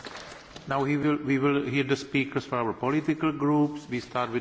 Herr Präsident, Frau Vizepräsdentin, liebe Kolleginnen und Kollegen!